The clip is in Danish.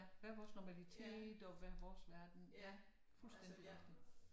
Hver vores normalitet og hver vores verden fuldstændigt